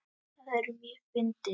Það er mjög fyndið.